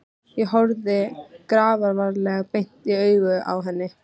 Ég horfði grafalvarleg beint í augun á henni.